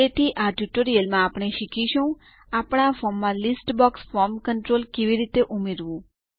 તેથી આ ટ્યુટોરીયલમાં આપણે શીખીશું આપણા ફોર્મમાં લીસ્ટ બોક્સ ફોર્મ કન્ટ્રોલ કેવી રીતે ઉમેરવું